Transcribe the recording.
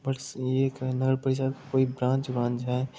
बस ये कहना है कोई ब्रांच है।